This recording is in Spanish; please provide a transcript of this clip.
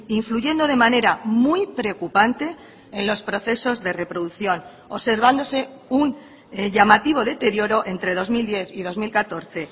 influyendo de manera muy preocupante en los procesos de reproducción observándose un llamativo deterioro entre dos mil diez y dos mil catorce